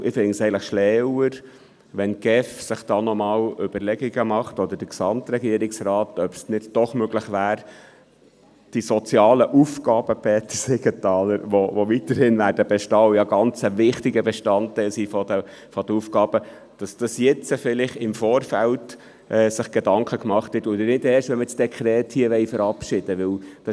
Denn ich finde es schlauer, wenn sich die GEF oder der Gesamtregierungsrat noch einmal Überlegungen macht, ob es nicht doch möglich wäre, die sozialen Aufgaben, Peter Siegenthaler, die weiterhin bestehen werden und ein ganz wichtiger Bestandteil der Aufgaben sind –, dass man sich also jetzt im Vorfeld Gedanken macht, und nicht erst, wenn wir das Dekret hier verabschieden wollen.